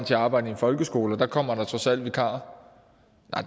til at arbejde i en folkeskole og der kommer der trods alt vikarer